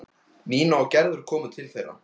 Nína og Gerður komu til þeirra.